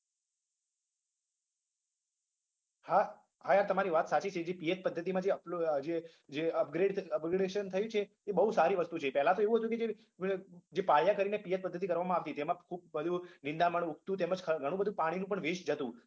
હા હા યાર તમારી વાત સાચી છે જે પિયત પદ્ધતિમાં જે upload જે જે upgrades upgradation થયું છે એ બોઉ સારી વસ્તુ છે પહેલા તો એવું હતું કે જે જે પાયા કરીને પિયત પદ્ધતિ કરવામાં આવતી જેમાં ખુબ બધું નિંદામણ ઉગતું તેમજ ઘણું બધું પાણીનું પણ waste જતું